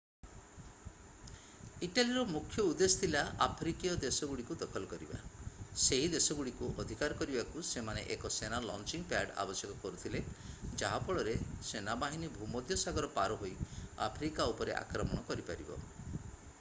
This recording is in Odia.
ଇଟାଲୀର ମୁଖ୍ୟ ଉଦ୍ଦେଶ୍ୟ ଥିଲା ଆଫ୍ରିକୀୟ ଦେଶଗୁଡ଼ିକୁ ଦଖଲ କରିବା ସେହି ଦେଶଗୁଡ଼ିକୁ ଅଧିକାର କରିବାକୁ ସେମାନେ ଏକ ସେନା ଲଞ୍ଚିଂ ପ୍ୟାଡ୍ ଆବଶ୍ୟକ କରୁଥିଲେ ଯାହା ଫଳରେ ସେନାବାହିନୀ ଭୂମଧ୍ୟସାଗର ପାର ହୋଇ ଆଫ୍ରିକା ଉପରେ ଆକ୍ରମଣ କରିପାରିବ